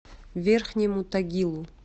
верхнему тагилу